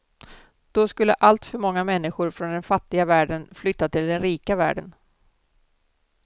Då skulle alltför många människor från den fattiga världen flytta till den rika världen.